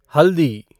हल्दी